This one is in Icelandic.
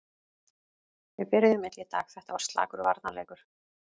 Við byrjuðum illa í dag, þetta var slakur varnarleikur.